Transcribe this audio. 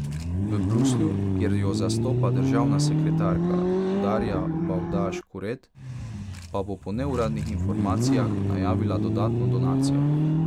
V Bruslju, kjer jo zastopa državna sekretarka Darja Bavdaž Kuret, pa bo po neuradnih informacijah najavila dodatno donacijo.